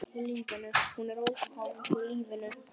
Hún er óháð lífinu.